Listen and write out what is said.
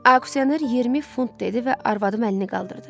Aksioner 20 funt dedi və arvadım əlini qaldırdı.